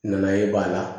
Nana ye b'a la